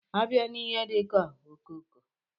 A bịa n'ihe dika ọkokoo.